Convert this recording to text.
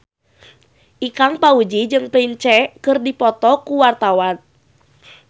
Ikang Fawzi jeung Prince keur dipoto ku wartawan